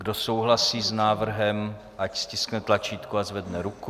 Kdo souhlasí s návrhem, ať stiskne tlačítko a zvedne ruku.